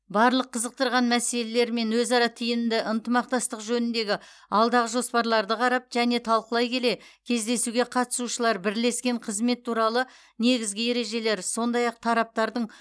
барлық қызықтырған мәселелер мен өзара тиімді ынтымақтастық жөніндегі алдағы жоспарларды қарап және талқылай келе кездесуге қатысушылар бірлескен қызмет туралы негізгі ережелер сондай ақ тараптардың